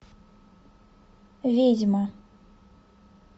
ведьма